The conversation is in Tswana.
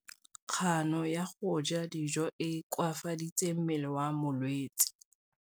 Kganô ya go ja dijo e koafaditse mmele wa molwetse.